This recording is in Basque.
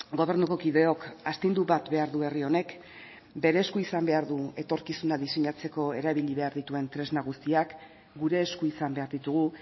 gobernuko kideok astindu bat behar du herri honek bere esku izan behar du etorkizuna diseinatzeko erabili behar dituen tresna guztiak gure esku izan behar ditugu